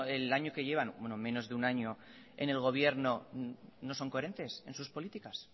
el año que llevan bueno menos de un año en el gobierno no son coherentes en sus políticas